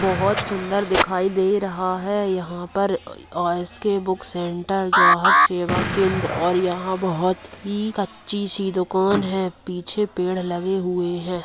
बहुत सुंदर दिखाई दे रहा है यहाँ पर और एस.के. बुक सेंटर ग्राहक सेवा केंद्र और यहाँ बहुत ही अच्छी सी दुकान है पीछे पेड़ लगे हुए है।